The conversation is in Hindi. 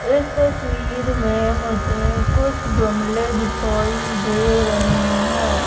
इस तस्वीर में मुझे कुछ गमले दिखाई दे रहे है।